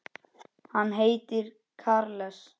Hann heitir Charles